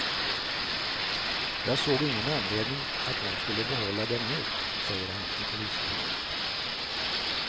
Jag såg ingen anledning att hon skulle behålla dem nu, säger han i polisförhör.